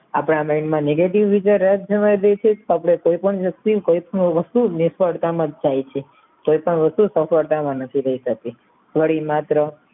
આપણા દેશમાં negative રીતે રાજ થવા દેશો આપણે કોઈ પણ વ્યક્તિ કોઈ પણ વસ્તુ નિષ્ફળતામાં થાય છે કોઈ પણ વસ્તુ સફળતામાં નથી થાય શક્તિ ત્યરે માત્ર